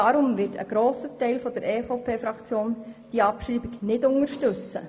Deshalb wird ein grosser Teil der EVP-Fraktion diese Abschreibung nicht unterstützen.